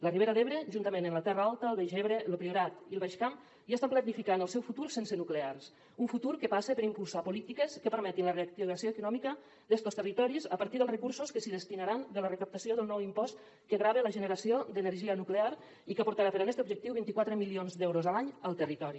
la ribera d’ebre juntament amb la terra alta el baix ebre lo priorat i el baix camp ja estan planificant el seu futur sense nuclears un futur que passa per impulsar polítiques que permetin la reactivació econòmica d’estos territoris a partir dels recursos que s’hi destinaran de la recaptació del nou impost que grava la generació d’energia nuclear i que portarà per a este objectiu vint quatre milions d’euros l’any al territori